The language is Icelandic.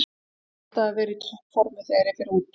Ég verð alltaf að vera í toppformi þegar ég fer í út